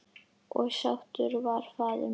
Og sáttur var faðir minn.